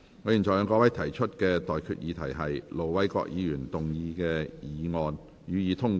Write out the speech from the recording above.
我現在向各位提出的待決議題是：盧偉國議員動議的議案，予以通過。